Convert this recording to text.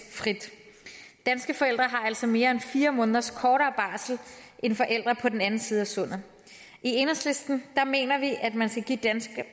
frit danske forældre har altså mere end fire måneders kortere barsel end forældre på den anden side af sundet i enhedslisten mener vi at man skal give danske